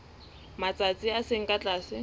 matsatsi a seng ka tlase